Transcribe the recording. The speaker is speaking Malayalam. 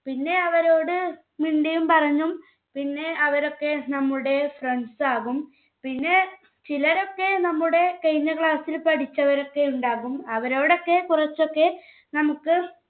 പിന്നെ അവരോട് മിണ്ടിയും പറഞ്ഞും പിന്നെ അവരൊക്കെ നമ്മുടെ friends ആകും. പിന്നെ ചിലരൊക്കെ നമ്മുടെ കഴിഞ്ഞ class ൽ പഠിച്ചവരൊക്കെയുണ്ടാവും. അവരോടൊക്കെ കുറച്ചൊക്കെ നമുക്ക്